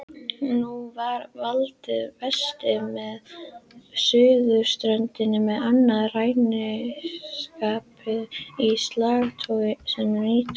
Nú var haldið vestur með suðurströndinni með annað ræningjaskip í slagtogi sem nýkomið var.